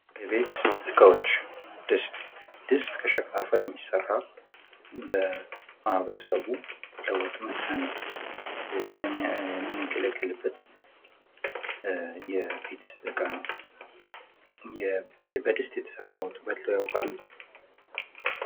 የቤት እቃወች፦ ድስት ፦ድስት ከሸክላ አፈር የሚሠራ በማህበረሰቡ ለውጥ መስሪያለት የምንገለገልበት የቤት ዕቃ ነው ። በድስት የተሰራ ወጥ በልተው ያውቃሉ ?